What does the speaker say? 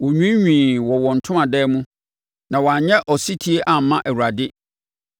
Wɔnwiinwii wɔ wɔn ntomadan mu na wɔannyɛ ɔsetie amma Awurade.